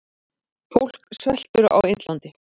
Fólk sveltur á Indlandi.